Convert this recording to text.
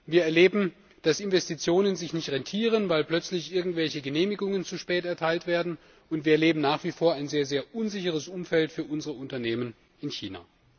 Wir erleben, dass Investitionen sich nicht rentieren, weil plötzlich irgendwelche Genehmigungen zu spät erteilt werden, und wir erleben nach wie vor ein sehr unsicheres Umfeld für unsere Unternehmen in China.